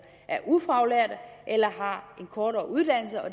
er ufaglærte eller har en kortere uddannelse og